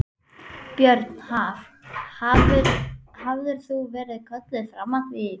Björn: Haf, hafðirðu verið kölluð fram að því?